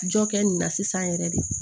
Jɔ kɛ nin na sisan yɛrɛ de